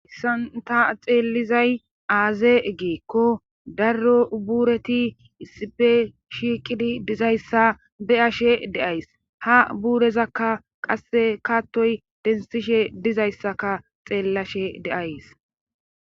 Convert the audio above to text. Hayssan ta xeellizay aaze giikko darro buureti issipe shiiqidi dizayssa be7ashe de7ays ha buurezakka qasse kattoy denthishe dizayssaka xeellashe de7ays.